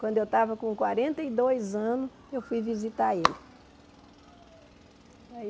Quando eu estava com quarenta e dois anos, eu fui visitar ele.